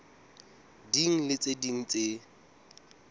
ding le tse ding tse